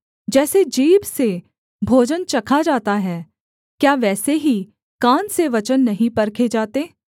जैसे जीभ से भोजन चखा जाता है क्या वैसे ही कान से वचन नहीं परखे जाते